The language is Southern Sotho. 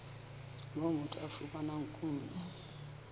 moo motho a fumanang kuno